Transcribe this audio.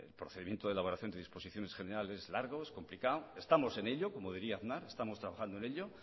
procedimiento de elaboración de disposiciones generales es largo es complicado estamos en ello como diría aznar estamos trabajando en ello